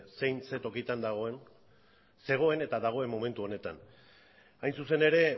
zein zein tokitan dagoen zegoen eta dagoen momentu honetan hain zuzen ere